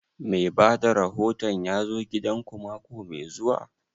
Mai bada rahoton ya zo gidan ku mako mai zuwa?